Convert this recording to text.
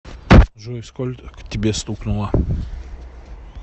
джой сколько тебе стукнуло